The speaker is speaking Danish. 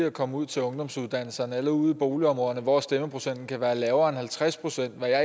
at komme ud til ungdomsuddannelserne eller ud i boligområderne hvor stemmeprocenten kan være lavere end halvtreds procent hvad jeg